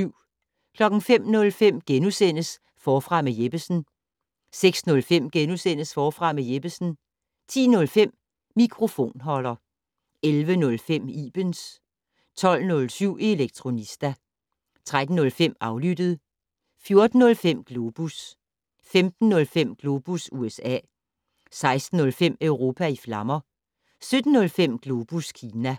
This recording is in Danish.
05:05: Forfra med Jeppesen * 06:05: Forfra med Jeppesen * 10:05: Mikrofonholder 11:05: Ibens 12:07: Elektronista 13:05: Aflyttet 14:05: Globus 15:05: Globus USA 16:05: Europa i flammer 17:05: Globus Kina